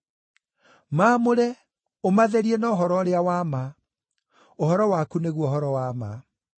Maamũre, ũmatherie na ũhoro ũrĩa wa ma; ũhoro waku nĩguo ũhoro wa ma.